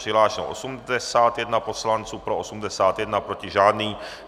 Přihlášeno 81 poslanců, pro 81, proti žádný.